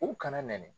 U kana nɛni